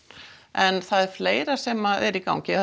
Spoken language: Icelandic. en það er fleira sem er í gangi